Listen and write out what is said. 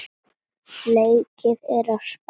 Leikið er á Spáni.